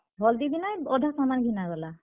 Hall ଦି ଦିନେ ଅଧା ସାମାନ୍ ଘିନା ଗଲା।